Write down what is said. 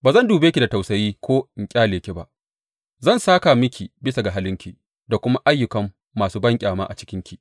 Ba zan dube ki da tausayi ko in ƙyale ke ba; zan sāka miki bisa ga halinki da kuma ayyukan masu banƙyama a cikinki.